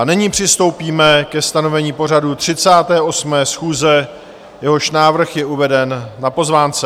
A nyní přistoupíme ke stanovení pořadu 38. schůze, jehož návrh je uveden na pozvánce.